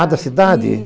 Ah, da cidade?